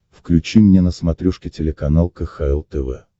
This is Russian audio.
включи мне на смотрешке телеканал кхл тв